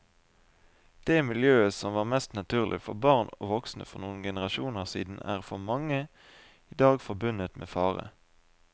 Det miljøet som var mest naturlig for barn og voksne for noen generasjoner siden er for mange i dag forbundet med fare.